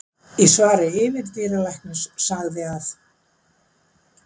Í svari yfirdýralæknis sagði að